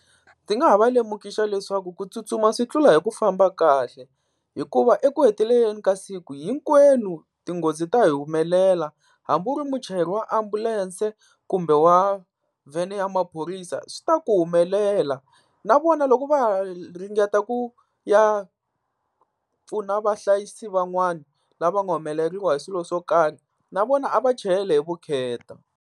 Ndzi nga ha va lemukisa leswaku ku tsutsuma swi tlula hi ku famba kahle hikuva eku heteleleni ka siku hinkwenu tinghozi ta hi humelela, hambi u ri muchayeri wa ambulense kumbe wa vhene ya maphorisa swi ta ku humelela. Na vona loko va ha ringeta ku ya pfuna vahlayisi van'wani lava nga humeleriwa hi swilo swo karhi na vona a va chayele hi vukheta.